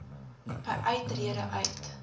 by uittrede uit